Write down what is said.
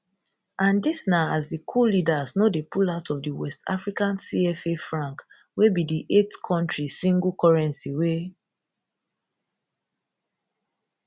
and dis na as di coup leaders no dey pull out of di west african cfa franc wey be di eight kontri single currency wey